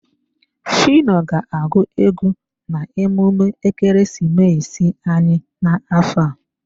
Phyno ga-agụ egwu na emume ekeresimesi anyị n'afọ a.